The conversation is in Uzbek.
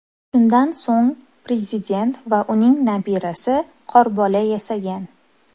Shundan so‘ng prezident va uning nabirasi qorbola yasagan.